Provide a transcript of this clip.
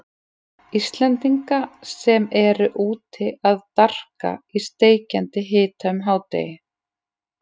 Íslendinga sem eru úti að darka í steikjandi hita um hádaginn.